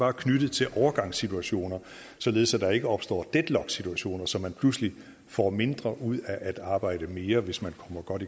er knyttet til overgangssituationer således at der ikke opstår deadlocksituationer så man pludselig får mindre ud af at arbejde mere hvis man kommer godt